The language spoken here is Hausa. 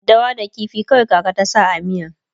daddawa da ƙifi kawai kaka ta sa a miyan